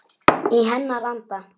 Í hennar anda.